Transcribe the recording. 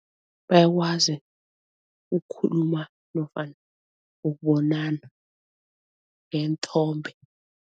Bayakwazi ukukhuluma nofana ukubonana ngeenthombe.